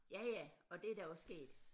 Ja ja og det er da også sket